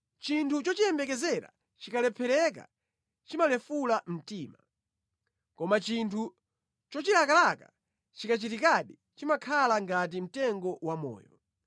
Chinthu chochiyembekezera chikalephereka chimalefula mtima, koma chinthu chochilakalaka chikachitikadi chimakhala ngati mtengo wamoyo.